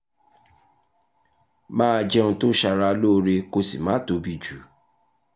máa jẹun tó ṣara lóore kó o sì má tóbi jù